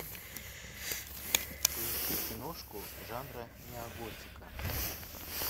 поищи киношку жанра неоготика